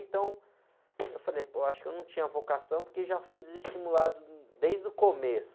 Então, eu falei, pô, acho que eu não tinha vocação porque já fui desestimulado desde o começo.